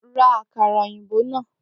Ra àkàrà òyìnbó náà!